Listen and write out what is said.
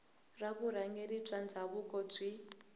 ra vurhangeri bya ndhavuko byi